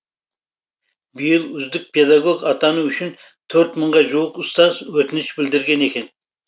биыл үздік педагог атану үшін төрт мыңға жуық ұстаз өтініш білдірген екен